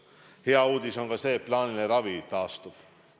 Hea uudis on ka see, et plaaniline ravi taastub.